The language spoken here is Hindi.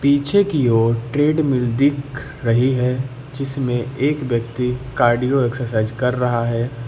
पीछे की ओर ट्रेडमिल दिख रही है जिसमें एक व्यक्ति कार्डियो एक्सरसाइज कर रहा है।